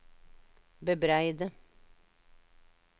bebreide